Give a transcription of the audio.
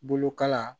Bolokala